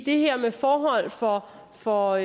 det her med forholdene for for